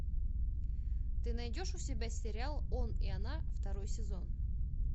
ты найдешь у себя сериал он и она второй сезон